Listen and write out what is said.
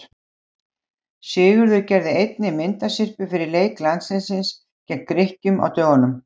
Sigurður gerði einnig myndasyrpu fyrir leik landsliðsins gegn Grikkjum á dögunum.